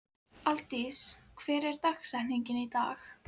Aldís, hver er dagsetningin í dag?